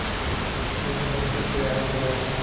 पुल बनकर तैयार हो गया है